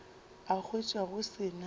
a hwetša go se na